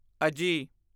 ਅਜੀ